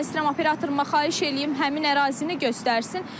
Mən istəyirəm operatoruma xahiş eləyim həmin ərazini göstərsin.